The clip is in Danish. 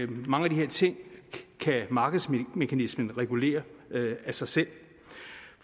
mange af de her ting kan markedsmekanismen regulere af sig selv